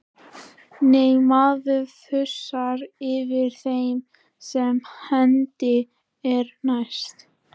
Nei, maður þusar yfir þeim sem hendi er næst.